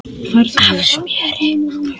af smjöri.